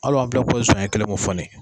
Ala' bɛ ko sɔnɲɛ kelen e mo fɔ ne ye.